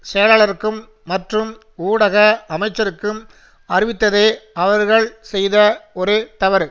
செயலாளருக்கும் மற்றும் ஊடக அமைச்சருக்கும் அறிவித்ததே அவர்கள் செய்த ஒரே தவறு